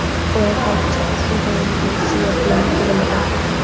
ular ham ichida shunday missiya bilan tug‘iladi.